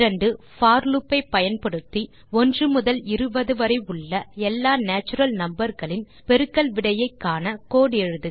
போர் loop ஐ பயன்படுத்தி 1 முதல் 20 வரை உள்ள எல்லா நேச்சுரல் நம்பர் களின் பெருக்கல் விடையை காண கோடு எழுதுக